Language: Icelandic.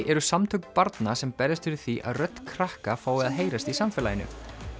eru samtök barna sem berjast fyrir því að rödd krakka fái að heyrast í samfélaginu